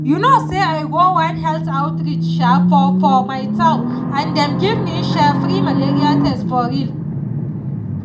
you know say i go one health outreach um for for my town and dem give me um free malaria test for real